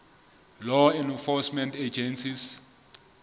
law enforcement agencies